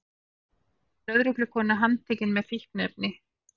Lögreglukona handtekin með fíkniefni